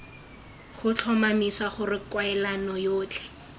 go tlhomamisa gore kwalelano yotlhe